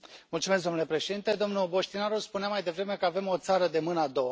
Domnule președinte, domnul Boștinaru spunea mai devreme că avem o țară de mâna a doua.